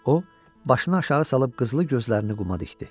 O başını aşağı salıb qızlı gözlərini quma dikdi.